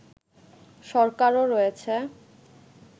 সরকারও রয়েছে